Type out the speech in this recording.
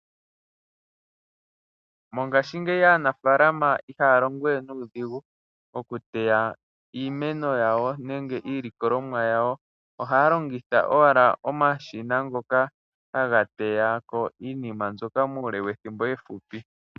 Mongashingeyi aanafaalama ihaya longowe nuudhigu okuteya iimeno yawo nenge iilikolomwa yawo. Ohaya longitha owala omashina ngoka haga teyako iinima mbyoka muule wethimbo efupi.